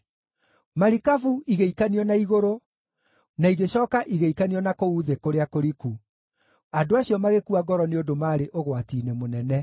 Marikabu igĩikanio na igũrũ, na igĩcooka igĩikanio na kũu thĩ kũrĩa kũriku; andũ acio magĩkua ngoro nĩ ũndũ marĩ ũgwati-inĩ mũnene.